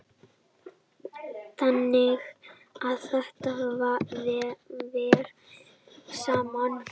Þannig að þetta fer saman.